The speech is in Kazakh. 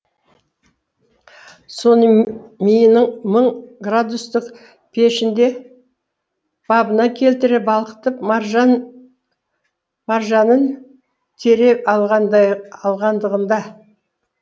соны миының мың градустық пешінде бабына келтіре балқытып маржанын тере алғандығында